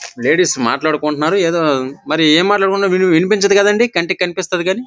Ladies మాట్లాడుకుంటున్నారు ఎదో మరి ఎం మాట్లాడుకుంటున్నారు విని వినిపించదు కదండి కంటికి కనిపిస్తది కానీ.